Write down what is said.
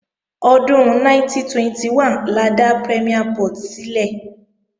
Ọdún 1921 la dá Premiere Port sílẹ̀